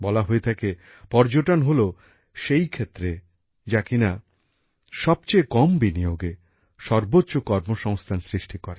বলা হয়ে থাকে পর্যটন হলো সেই ক্ষেত্র যা কিনা সবচেয়ে কম বিনিয়োগে সর্বোচ্চ কর্মসংস্থান সৃষ্টি করে